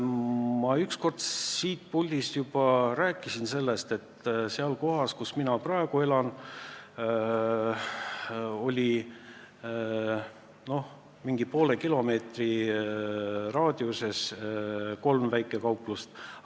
Ma kunagi juba rääkisin siit puldist, et kohas, kus mina praegu elan, oli mingi poole kilomeetri raadiuses kolm väikekauplust.